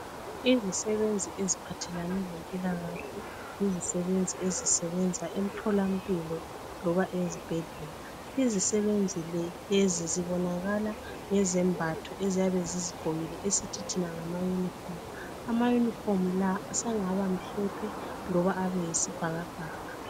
Izisebenzi eziphathelane lempilakahle. Izisebenzi ezisebenza emtholampilo loba ezibhedlela. Izisebenzi le lezi zibonakala ngezembatho eziyabe zizigqokile esithi thina ngama yunifomu. Amayunifomu la sengabamhlophe loba abeyisibhakabhaka.